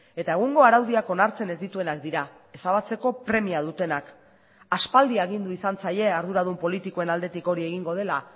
eta egungo araudiak onartzen ez dituenak dira ezabatzeko premia dutenak aspaldi agindu izan zaie arduradun politikoen aldetik hori egingo dela